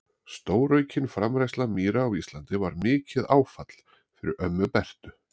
Stóraukin framræsla mýra á Íslandi var mikið áfall fyrir ömmu Bertu.